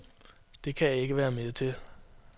Det kan jeg ikke være med til.